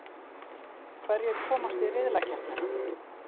Hverjir komast í riðlakeppnina?